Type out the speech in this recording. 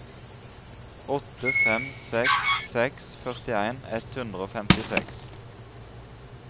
åtte fem seks seks førtien ett hundre og femtiseks